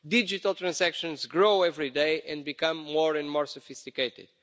Digital transactions grow every day and become more and more sophisticated.